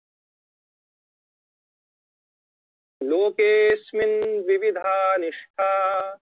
लोकेस्मिनद्विविधा निष्ठा